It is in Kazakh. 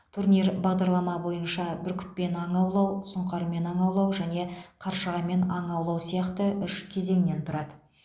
турнир бағдарлама бойынша бүркітпен аң аулау сұңқармен аң аулау және қаршығамен аң аулау сияқты үш кезеңнен тұрады